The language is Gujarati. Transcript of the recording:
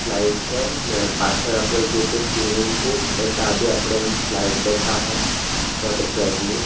સ્લાઇડ છે ને પાછળ આપણે જોઈએ તો સ્વિમિંગ પૂલ ને તા બી આપણેન સ્લાઇડ દેખાહે વોટર પ્રાઇટ ની.